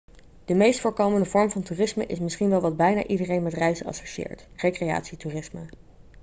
de meest voorkomende vorm van toerisme is misschien wel wat bijna iedereen met reizen associeert recreatietoerisme